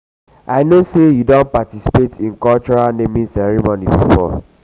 i um know say you don participate in cultural naming customs before.